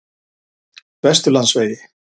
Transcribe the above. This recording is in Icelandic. Vesturlandsvegi